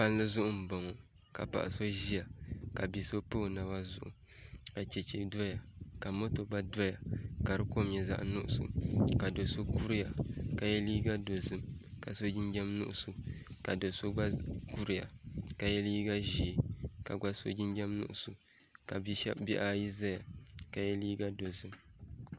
Palli zuɣu n boŋo ka paɣa so ʒiya ka bia so pa o naba zuɣu ka chɛchɛ doya ka moto gba doya ka di kom nyɛ zaɣ nuɣso ka do so kuriya ka yɛ liiga dozim ka so jinjɛm nuɣso ka do so gba kuriya ka yɛ liiga ʒiɛ ka gba so jinjɛm nuɣso ka bihi ayi ʒɛya ka yɛ liiga dozim